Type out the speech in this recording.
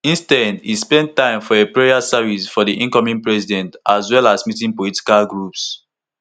instead e spend time for a prayer service for di incoming president as well as meeting political groups